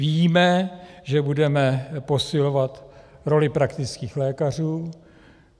Víme, že budeme posilovat roli praktických lékařů.